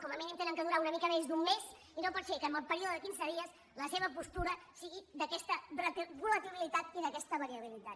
com a mínim han de durar una mica més d’un mes i no pot ser que en el període de quinze dies la seva postura sigui d’aquesta volatilitat i d’aquesta variabilitat